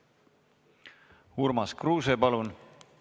Urmas Kruuse, palun!